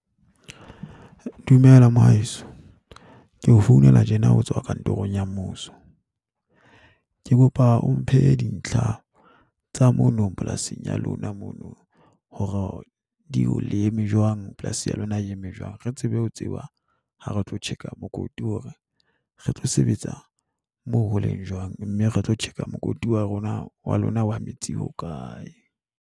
Dumela, mohaeso. Ke o founela tjena ho tswa kantorong ya mmuso. Ke kopa o mphe dintlha tsa mono polasing ya lona mono hore di le eme jwang, polasi ya lona e eme jwang. Re tsebe ho tseba ha re tlo tjheka mokoti hore re tlo sebetsa moo ho leng jwang, mme re tlo tjheka mokoti wa rona wa lona wa metsi ho kae.